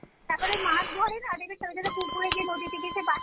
তারপরে মাছ ধরে না দেখবে ছোট ছোট পুকুরে গিয়ে নদীতে গিয়ে সে বাঁশ